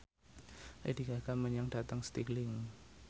Lady Gaga lunga dhateng Stirling